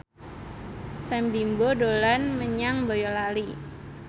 Sam Bimbo dolan menyang Boyolali